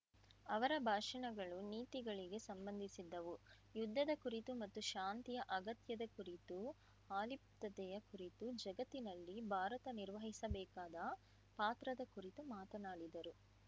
ಅವರ ಭಾಷಣಗಳು ನೀತಿಗಳಿಗೆ ಸಂಬಂಧಿಸಿದ್ದವು ಯುದ್ಧದ ಕುರಿತು ಮತ್ತು ಶಾಂತಿಯ ಅಗತ್ಯದ ಕುರಿತು ಅಲಿಪ್ತತೆಯ ಕುರಿತು ಜಗತ್ತಿನಲ್ಲಿ ಭಾರತ ನಿರ್ವಹಿಸಬೇಕಾದ ಪಾತ್ರದ ಕುರಿತು ಮಾತನಾಡಿದರು